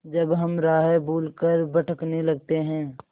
जब हम राह भूल कर भटकने लगते हैं